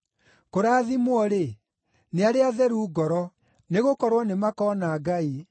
Kũrathimwo-rĩ, nĩ arĩa atheru ngoro, nĩgũkorwo nĩmakona Ngai.